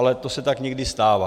Ale to se tak někdy stává.